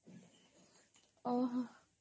ଓହୋ